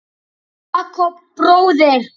Jakob bróðir.